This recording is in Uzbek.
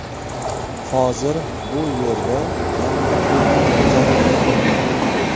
Hozir bu yerda yangi fermer xo‘jaligi tuzilgan.